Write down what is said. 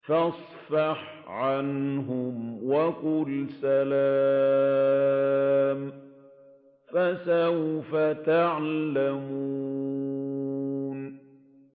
فَاصْفَحْ عَنْهُمْ وَقُلْ سَلَامٌ ۚ فَسَوْفَ يَعْلَمُونَ